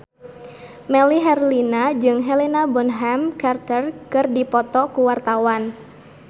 Melly Herlina jeung Helena Bonham Carter keur dipoto ku wartawan